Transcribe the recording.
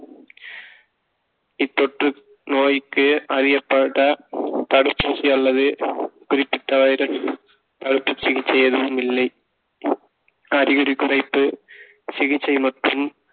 இத்தொற்று நோய்க்கு அறியப்பட்ட தடுப்பூசி அல்லது குறிப்பிட்ட வைரஸ் அறுப்பு சிகிச்சை எதுவும் இல்லை அறிகுறி குறித்து சிகிச்சை மற்றும்